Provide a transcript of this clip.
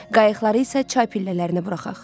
Qayıqları isə çay pillələrinə buraxaq.